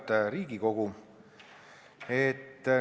Auväärt Riigikogu!